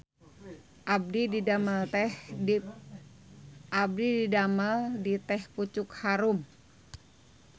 Abdi didamel di Teh Pucuk Harum